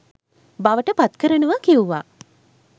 බවට පත්කරනවා කිව්වා.